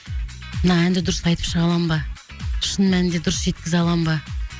мына әнді дұрыс айтып шыға аламын ба шын мәнінді дұрыс жеткізе аламын ба